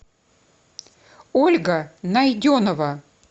ольга найденова